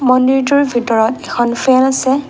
মন্দিৰটোৰ ভিতৰত এখন ফেন আছে।